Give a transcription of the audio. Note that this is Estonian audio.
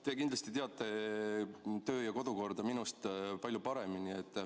Te kindlasti teate Riigikogu kodu- ja töökorda minust palju paremini.